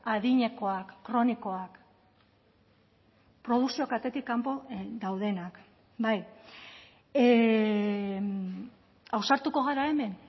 adinekoak kronikoak produkzio katetik kanpo daudenak bai ausartuko gara hemen